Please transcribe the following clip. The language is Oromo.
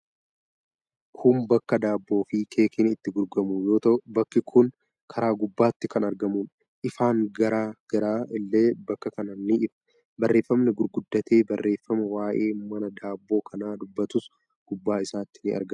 Kun bakka daabboo fi keekiin itti gurguramu yoo ta'u, bakki kun karaa gubbatti kan argamuudha. Ifaan garaa garaa illee bakka kanaa ni ifa. Barrefamni gurguddatee barreeffame waayee mana daabboo kanaa dubbatus gubbaa isaatti in argama.